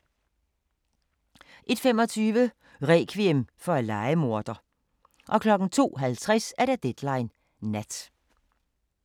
01:25: Rekviem for en lejemorder 02:50: Deadline Nat